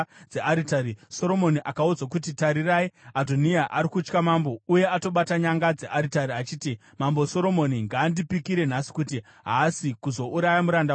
Soromoni akaudzwa kuti, “Tarirai, Adhoniya ari kutya Mambo uye atobata nyanga dzearitari achiti, ‘Mambo Soromoni ngaandipikire nhasi kuti haasi kuzouraya muranda wake nomunondo.’ ”